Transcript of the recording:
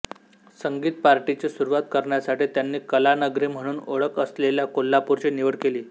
संगीत पार्टीची सुरुवात करण्यासाठी त्यांनी कलानगरी म्हणून ओळख असलेल्या कोल्हापूरची निवड केली